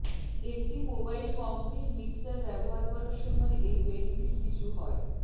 একটি mobile concrete mixer ব্যবহার করার সময় এই বেনিফিট কিছু হয়